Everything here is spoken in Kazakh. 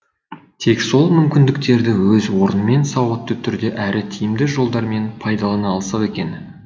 тек сол мүмкіндіктерді өз орнымен сауатты түрде әрі тиімді жолдармен пайдалана алсақ екен